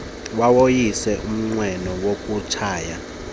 wawoyisa umnqweno wokutshaya